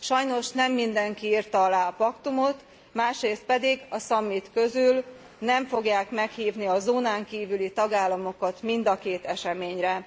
Sajnos nem mindenki írta alá a paktumot, másrészt pedig a summit közül nem fogják meghívni a zónán kívüli tagállamokat mind a két eseményre.